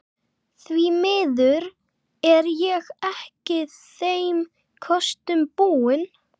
Því miður er ég ekki þeim kostum búin.